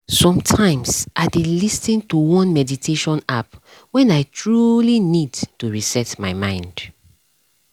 sometimes i dey lis ten to one meditation app when i truly need to reset my mind